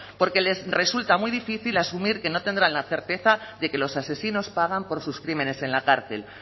porque les resulta muy difícil asumir que no tendrán la certeza de que los asesinos pagan por sus crímenes en la cárcel